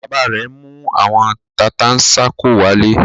Bàbá rẹ̀ mú àwọn tata-n-sánkọ wálé.